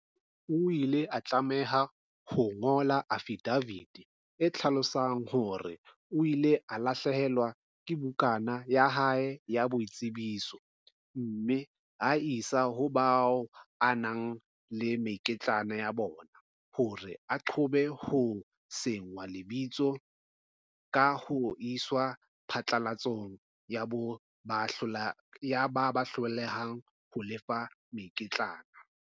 O ile a tlameha ho ngola afidafiti e hlalosang hore o ile a lahlehelwa ke bukana ya hae ya boitsebiso, mme a e isa ho bao a nang le mekitlane ya bona hore a qobe ho senngwa lebitso ka ho iswa phatlalatsong ya ba hlolehang ho lefa mekitlane.